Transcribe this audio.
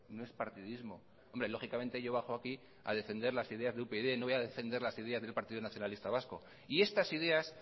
no es partidismo hombre lógicamente yo bajo aquí a defender las ideas de upyd no voy a defender las ideas del partido nacionalista vasco y estas ideas